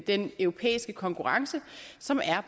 den europæiske konkurrence som er